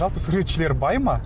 жалпы суретшілер бай ма